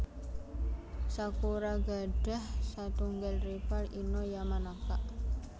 Sakura gadah satunggal rival Ino Yamanaka